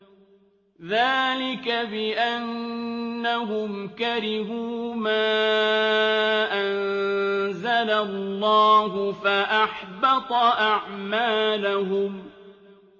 ذَٰلِكَ بِأَنَّهُمْ كَرِهُوا مَا أَنزَلَ اللَّهُ فَأَحْبَطَ أَعْمَالَهُمْ